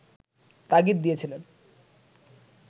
তাগিদ দিয়েছিলেন